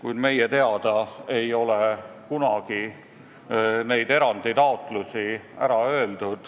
Samas meie teada ei ole kunagi selle erandi taotlust tagasi lükatud.